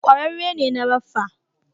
Kwararre ne na raffa